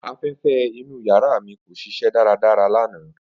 Afẹfẹ inu yara mi ko ṣiṣẹ daradara lana.